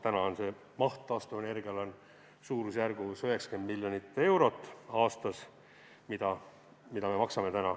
Täna on see maht suurusjärgus 90 miljonit eurot aastas, mida me maksame.